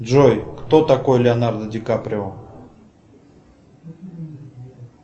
джой кто такой леонардо ди каприо